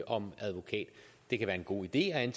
om advokat det kan være en god idé at